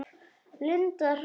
Linda Hrönn.